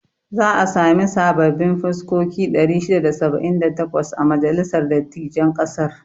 Za a sami sababbin fuskoki 678 a majalisar dattijain ƙasar.